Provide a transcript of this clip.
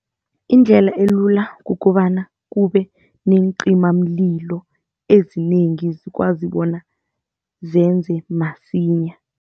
Indlela elula kukobana kube neencimamlilo ezinengi zikwazi bona zenze masinyana.